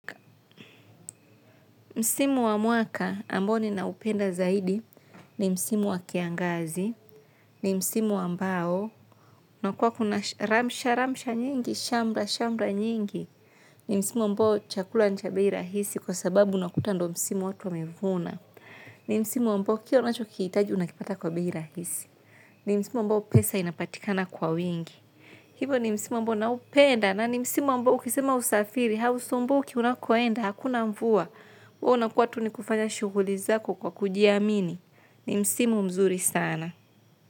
Msimu wa mwaka ambo nina upenda zaidi ni msimu wa kiangazi ni msimu ambao, na kuwa kuna ramsha, ramsha nyingi, shambla, shambla nyingi, ni msimu wa mbao chakula nchabihirahisi kwa sababu unakutando. Msimu wa tuamevuna, ni msimu wa mbao kia unacho kiitaji unakipata kwa bihirahisi, ni msimu wa mbao pesa inapatikana kwa wingi. Hivo ni msimu ambao naupenda na ni msimu ambao ukisema usafiri, hausumbuki unakoenda hakuna mvua, huwa unakuwa tu ni kufanya shughuli zako kwa kujiamini. Ni msimu mzuri sana.